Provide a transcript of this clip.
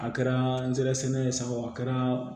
A kɛra nsɛrɛsɛnɛ ye sa o a kɛra